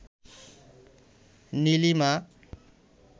Nilima